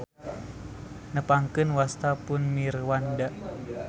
Nepangkeun wasta pun Mirwanda.